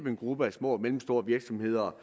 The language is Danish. en gruppe af små og mellemstore virksomheder